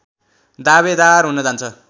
दावेदार हुन जान्छ